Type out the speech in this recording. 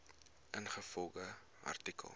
ingevolge artikel